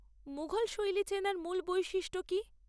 মুঘল শৈলী চেনার মূল বৈশিষ্ট্য কী?